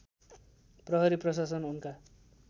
प्रहरी प्रशासन उनका